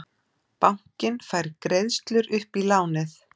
Bankinn fær greiðslur upp í lánið